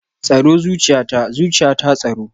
Tsaro zuciyata, zuciyata tsaro